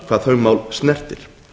hvað þau mál snertir